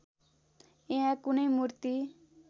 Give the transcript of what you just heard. यहाँ कुनै मूर्ति